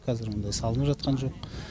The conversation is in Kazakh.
қазір ондай салынып жатқан жоқ